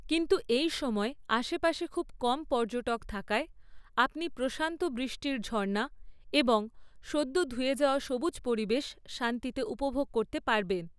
কিন্তু এই সময়ে আশেপাশে খুব কম পর্যটক থাকায়, আপনি প্রশান্ত বৃষ্টির ঝর্ণা এবং সদ্য ধুয়ে যাওয়া সবুজ পরিবেশ শান্তিতে উপভোগ করতে পারবেন।